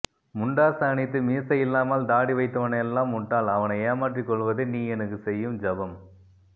முண்டாசு அணித்து மீசை இல்லாமல் தாடி வைத்தவன் எல்லாம் முட்டாள் அவனை ஏமாற்றி கொள்வதே நீ எனக்கு செய்யும் ஜபம்